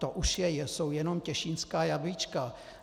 To už jsou jen těšínská jablíčka.